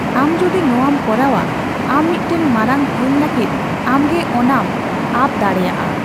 ᱟᱢ ᱡᱩᱫᱤ ᱱᱚᱣᱟᱢ ᱠᱚᱨᱟᱣᱼᱟ, ᱟᱢ ᱢᱤᱫᱴᱟᱝ ᱢᱟᱨᱟᱝ ᱦᱟᱹᱱ ᱞᱟᱜᱤᱫ ᱟᱢᱜᱮ ᱚᱱᱟᱢ ᱟᱯ ᱫᱟᱲᱮᱭᱟᱜᱼᱟ ᱾